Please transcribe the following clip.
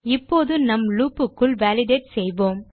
இப்போது நம் லூப் க்குள் வாலிடேட் செய்வோம்